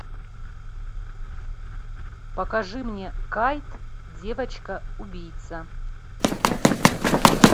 покажи мне кайт девочка убийца